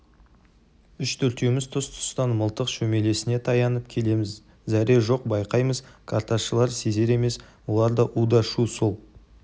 үш-төртеуміз тұс-тұстан мылтық шөмелесіне таянып келеміз зәре жоқ байқаймыз карташылар сезер емес олар у-да шу сол